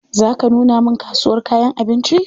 Za ka nuna min kasuwar kayan abinci?